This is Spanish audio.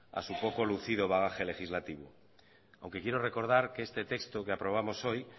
a su poco lucido bagaje legislativo aunque quiero recordar que este texto que aprobamos hoy